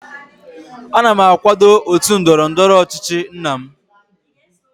ana m akwado otu ndọrọ ndọrọ ọchịchị nna m